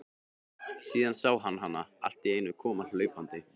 Síðan sá hann hana alltíeinu koma hlaupandi.